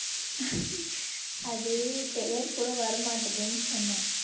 அது பெயர் கூட வரமாட்டேதுன்னு சொன்னேன்